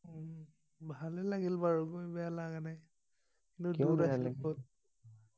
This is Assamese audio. উম ভালেই লাগিল বাৰু গৈ বেয়া লাগা নাই